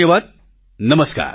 ખૂબખૂબ ધન્યવાદ